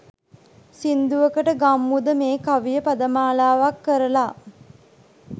සින්දුවකට ගම්මුද මේ කවිය පදමාලාවක් කරලා?